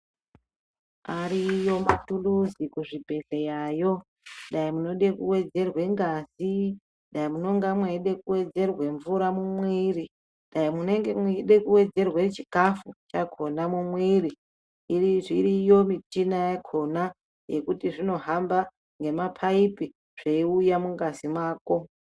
Ariyo ma tuluzi ku zvibhedhlera yo dai munode ku wedzerwe ngazi dai munonga meida kuwedzerwe mvura mu mwiri dai munenge meida ku wedzerwe chikafu chakona mu mwiri zviriyo michina yakona yekuti zvino hamba ne mapaipi zveiuya mu ngazi mako.